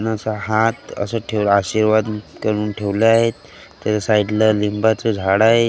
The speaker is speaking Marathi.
आणि असा हात असा ठेवला आशीर्वाद करून ठेवला आहेत त्याच्या साईड ला लिंबाचं झाडं आहे.